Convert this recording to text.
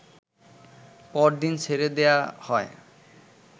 পর দিন ছেড়ে দেয়া হয়